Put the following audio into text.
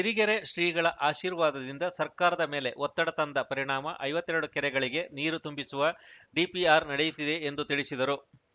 ಸಿರಿಗೆರೆ ಶ್ರೀಗಳ ಆಶೀರ್ವಾದದಿಂದ ಸರ್ಕಾರದ ಮೇಲೆ ಒತ್ತಡ ತಂದ ಪರಿಣಾಮ ಐವತ್ತೆರಡು ಕೆರೆಗಳಿಗೆ ನೀರು ತುಂಬಿಸುವ ಡಿಪಿಆರ್‌ ನಡೆಯುತ್ತಿದೆ ಎಂದು ತಿಳಿಸಿದರು